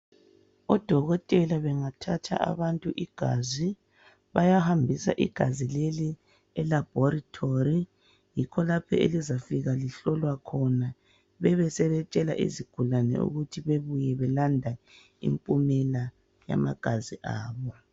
Odokotela bathatha abantu igazi, bayihambisa igazi leli elaboratory kulapho elizafika lihlolwe khona. Besebetshela abantu ukuthi bebuye belanda impumela yamagazi abo.